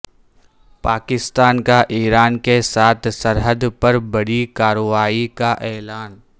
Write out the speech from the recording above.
پاکستان کا ایران کے ساتھ سرحد پر بڑی کارروائی کا اعلان